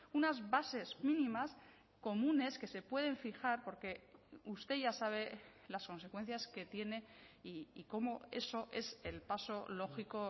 unas bases mínimas comunes que se pueden fijar porque usted ya sabe las consecuencias que tiene y como eso es el paso lógico